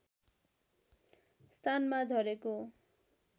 स्थानमा झरेको